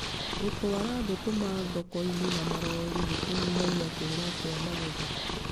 Gũtwara thũkũma thoko-inĩ na marori nĩ kũnyihagia kũũra kwa magetha.